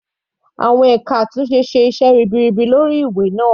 Àwọn ẹka àtúnṣe ṣe iṣẹ́ ribiribi lórí ìwé náà.